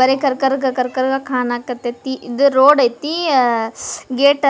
ಬರೀ ಕರ್ ಕರ್ ಕರ್ ಕರ್ವಾಗ್ ಕನಕತೀತಿ ಇದ್ ರೋಡ್ ಐತಿ ಆಅ ಸ್ಸ್ ಗೇಟ್